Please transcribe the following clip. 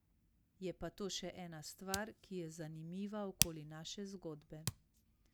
Je pa to še ena stvar, ki je zanimiva okoli naše zgodbe.